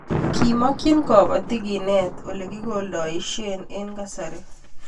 kimakchini kabatik kenet ole kikoldoishe eng' kasari